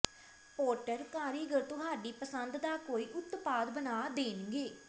Potter ਕਾਰੀਗਰ ਤੁਹਾਡੀ ਪਸੰਦ ਦਾ ਕੋਈ ਉਤਪਾਦ ਬਣਾ ਦੇਣਗੇ